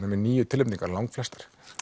er með níu tilnefningar langflestar